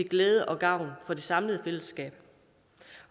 glæde og gavn for det samlede fællesskab